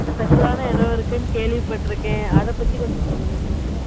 special ஆனா இடம் இருக்கு கேள்வி பாத்துருக்கேன். அத பத்தி கொஞ்சம் சொல்லுங்க.